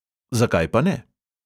Zakaj pa ne?